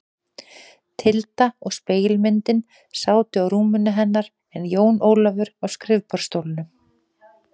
Tilda og spegilmyndin sátu á rúminu hennar en Jón Ólafur á skrifborðsstólnum.